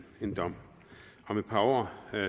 en dom om et par år